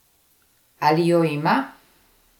Ali jo ima?